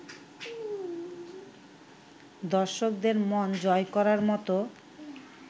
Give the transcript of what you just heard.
দর্শকদের মন জয় করার মতো